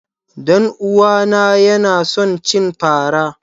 Danuwa na Yana son cin fara.